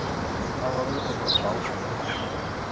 Hann var auðvitað bara dásamlegur.